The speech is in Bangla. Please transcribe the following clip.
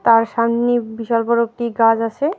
আর সামনে বিশাল বড়ো একটি গাস আসে।